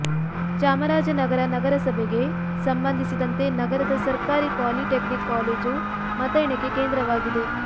ಚಾಮರಾಜನಗರ ನಗರಸಭೆಗೆ ಸಂಬಂಧಿಸಿದಂತೆ ನಗರದ ಸರ್ಕಾರಿ ಪಾಲಿ ಟೆಕ್ನಿಕ್ ಕಾಲೇಜು ಮತ ಎಣಿಕೆ ಕೇಂದ್ರವಾ ಗಿದೆ